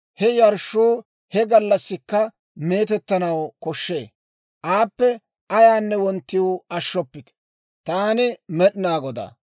He yarshshuu he gallassikka meetettanaw koshshee; aappe ayaanne wonttiw ashshoppite. Taani Med'inaa Godaa.